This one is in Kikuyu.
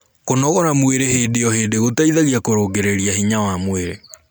kũnogora mwĩrĩ hĩndĩ o hĩndĩ gũteithagia kurungirirĩa hinya wa mwĩrĩ